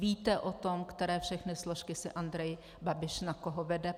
Víte o tom, které všechny složky si Andrej Babiš na koho vede?